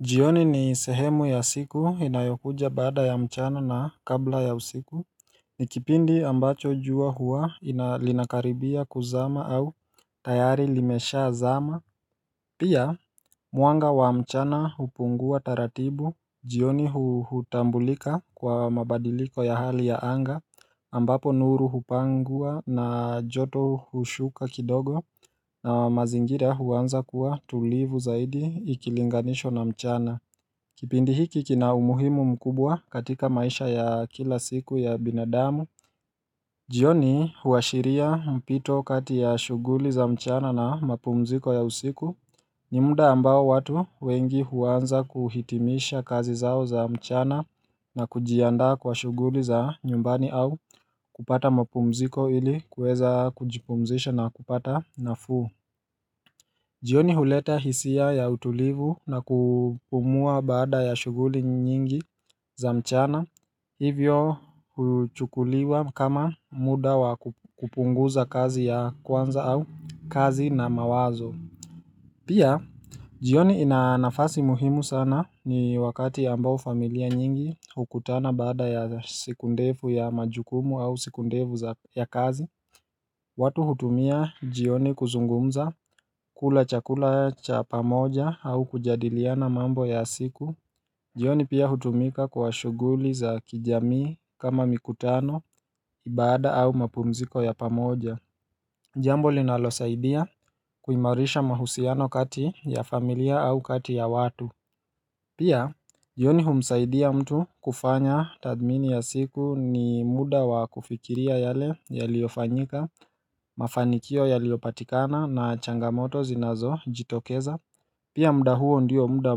Jioni ni sehemu ya siku inayokuja baada ya mchana na kabla ya usiku ni kipindi ambacho juwa huwa linakaribia kuzama au tayari limesha zama Pia mwanga wa mchana hupungua taratibu jioni hutambulika kwa mabadiliko ya hali ya anga ambapo nuru hupangwa na joto hushuka kidogo na mazingira huanza kuwa tulivu zaidi ikilinganishwa na mchana Kipindi hiki kina umuhimu mkubwa katika maisha ya kila siku ya binadamu jioni huashiria mpito kati ya shuguli za mchana na mapumziko ya usiku ni muda ambao watu wengi huanza kuhitimisha kazi zao za mchana na kujiandaa kwa shuguli za nyumbani au kupata mapumziko ili kuweza kujipumzisha na kupata nafuu jioni huleta hisia ya utulivu na kupumua baada ya shuguli nyingi za mchana, hivyo huchukuliwa kama muda wa kupunguza kazi ya kwanza au kazi na mawazo. Pia, jioni ina nafasi muhimu sana ni wakati ambao familia nyingi hukutana baada ya siku ndefu ya majukumu au siku ndevu ya kazi. Watu hutumia jioni kuzungumza kula chakula cha pamoja au kujadiliana mambo ya siku. Jioni pia hutumika kwa shuguli za kijami kama mikutano, ibada au mapumziko ya pamoja. Jambo linalosaidia kuimarisha mahusiano kati ya familia au kati ya watu. Pia jioni humsaidia mtu kufanya tadhmini ya siku ni muda wa kufikiria yale yaliofanyika mafanikio yalilopatikana na changamoto zinazojitokeza Pia muda huo ndiyo muda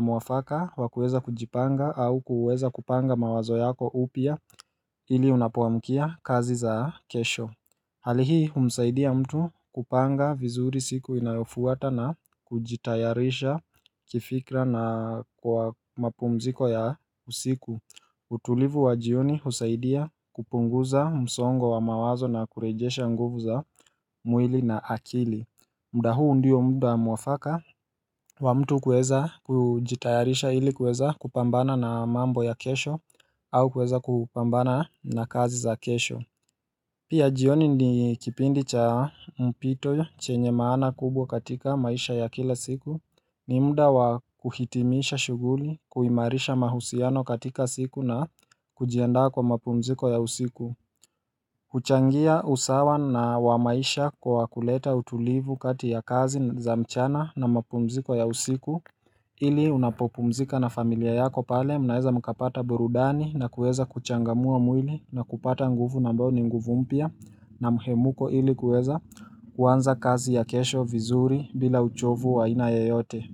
mwafaka wa kueza kujipanga au kuuweza kupanga mawazo yako upya ili unapoamkia kazi za kesho Hali hii humsaidia mtu kupanga vizuri siku inayofuata na kujitayarisha kifikra na kwa mapumziko ya usiku utulivu wa jioni husaidia kupunguza msongo wa mawazo na kurejesha nguvu za mwili na akili mda huu ndiyo mda mwafaka wa mtu kueza kujitayarisha ili kueza kupambana na mambo ya kesho au kueza kupambana na kazi za kesho Pia jioni ni kipindi cha mpito chenye maana kubwa katika maisha ya kila siku ni muda wa kuhitimisha shuguli, kuimarisha mahusiano katika siku na kujiandaa kwa mapumziko ya usiku huchangia usawa wa maisha kwa kuleta utulivu kati ya kazi za mchana na mapumziko ya usiku ili unapopumzika na familia yako pale mnaeza mkapata borudani na kueza kuchangamua mwili na kupata nguvu na ambao ni nguvu mpya na mhemuko ili kuweza kuanza kazi ya kesho vizuri bila uchovu wa aina yeyote.